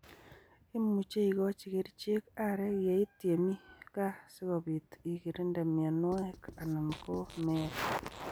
Imuche igochi kericheek areek yeit yemi/Gaa sikobiit igirinde mianwek anan ko meet.